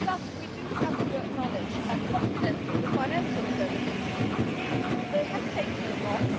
We also have to acknowledge that confidence in the financial services has taken a knock.